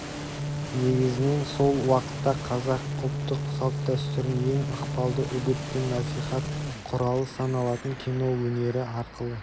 негізінен сол уақытта қазақ ұлттық салт-дәстүрін ең ықпалды үгіт пен насихат құралы саналатын кино өнері арқылы